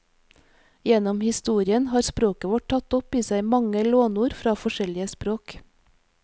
Gjennom historien har språket vårt tatt opp i seg mange lånord fra forskjellige språk.